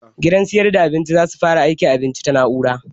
Gidan sayar da abinci za su fara aika abinci ta na'ura